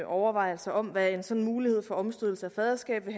overvejelser om hvad en sådan mulighed for omstødelse af faderskabet